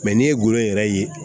n'i ye gulɔ yɛrɛ ye